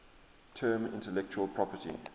term intellectual property